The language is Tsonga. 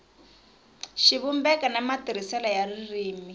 xivumbeko ni matirhisele ya ririmi